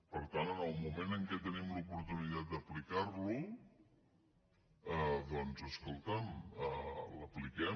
per tant en el moment que tenim l’oportunitat d’aplicar lo doncs escolta’m l’apliquem